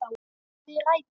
Við rætur